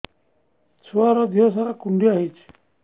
ଛୁଆର୍ ଦିହ ସାରା କୁଣ୍ଡିଆ ହେଇଚି